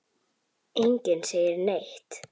Enginn segir neitt.